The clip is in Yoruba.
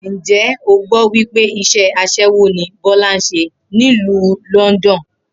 Ǹjé̩ o gbó̩ wí pé is̩é̩ as̩é̩wó ni Bó̩lá ń s̩e nílùú London?